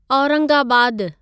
औरंगाबादु